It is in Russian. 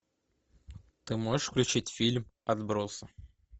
ты можешь включить фильм отбросы